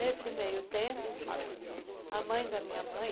Nesse meio tempo, a mãe da minha mãe,